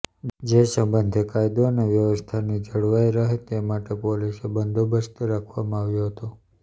જે સંબંધે કાયદો અને વ્યવસ્થાની જળવાઈ રહે તે માટે પોલીસ બંદોબસ્ત રાખવામાં આવ્યો હતો